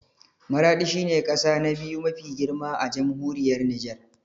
Maraɗi shi ne ƙasa na biyu mafi girma a Jamhuriyar Nijar